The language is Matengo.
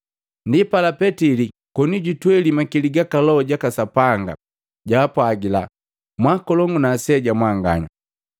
Ndipala Petili koni jutweli makili ga Loho jaka Sapanga jaka Sapanga, jaapwagila, “Mwaakolongu na aseja mwanganya: